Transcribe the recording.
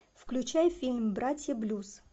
включай фильм братья блюз